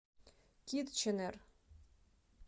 китченер